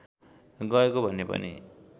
गएको भन्ने पनि